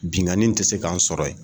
Innkanni tɛ se k'an sɔrɔ yen